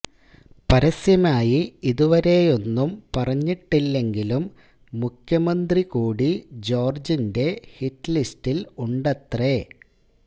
പരസ്യമായി ഇതുവരെയൊന്നും പറഞ്ഞിട്ടില്ലെങ്കിലും മുഖ്യമന്ത്രി കൂടി ജോര്ജിന്റെ ഹിറ്റ്ലിസ്റ്റില് ഉണ്ടത്രേ